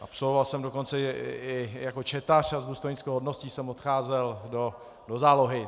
Absolvoval jsem dokonce i jako četař a s důstojnickou hodností jsem odcházel do zálohy.